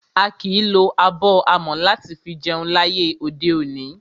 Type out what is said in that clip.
A kìí lo abọ́ amọ̀ láti fi jẹun láyé òde òní.